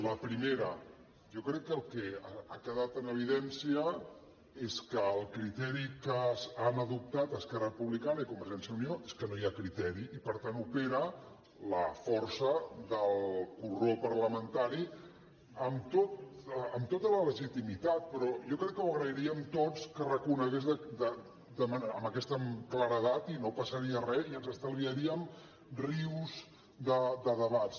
la primera jo crec que el que ha quedat en evidència és que el criteri que han adoptat esquerra republicana i convergència i unió és que no hi ha criteri i per tant opera la força del corró parlamentari amb tota la legitimitat però jo crec que ho agrairíem tots que ho reconegués amb aquesta claredat i no passaria res i ens estalviaríem rius de debats